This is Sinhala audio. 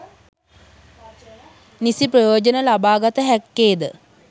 නිසි ප්‍රයෝජන ලබා ගත හැක්කේ ද